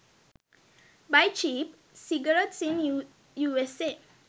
buy cheap cigarettes in usa